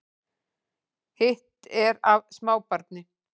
Hitt er af smábarni